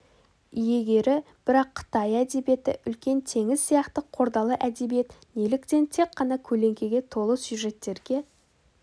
иегері бірақ қытай әдебиеті үлкен теңіз сияқты қордалы әдебиет неліктен тек қана көлеңкеге толы сюжеттерге